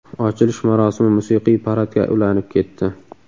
Ochilish marosimi musiqiy paradga ulanib ketdi.